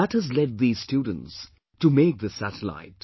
That has led these our students to make this satellite